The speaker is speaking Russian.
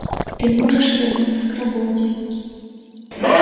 ты можешь вернуться к работе